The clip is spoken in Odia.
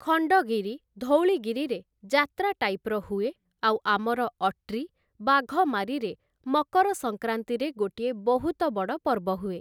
ଖଣ୍ଡଗିରି, ଧଉଳିଗିରିରେ ଯାତ୍ରା ଟାଇପ୍‌ର ହୁଏ ଆଉ ଆମର ଅଟ୍ରୀ, ବାଘମାରିରେ ମକର ସଂକ୍ରାନ୍ତିରେ ଗୋଟିଏ ବହୁତ ବଡ଼ ପର୍ବ ହୁଏ ।